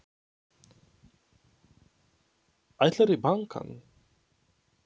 Ætlarðu í bankann?